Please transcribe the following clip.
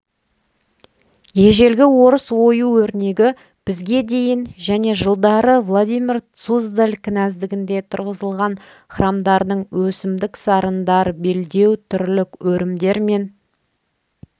ежелгі орыс ою-өрнегі бізге дейін және жылдары владимир суздаль княздігінде тұрғызылған храмдардың өсімдік сарындар белдеу-түрлік өрімдермен